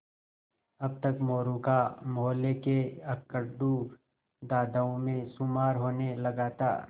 अब तक मोरू का मौहल्ले के अकड़ू दादाओं में शुमार होने लगा था